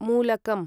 मूलकम्